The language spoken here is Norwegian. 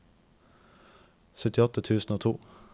syttiåtte tusen og to